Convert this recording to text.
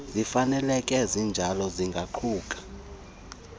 zifaneleke zinjalo zingaquka